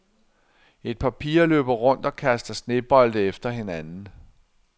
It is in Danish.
Et par piger løber rundt og kaster snebolde efter hinanden.